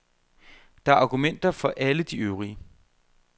Der er argumenter for alle de øvrige.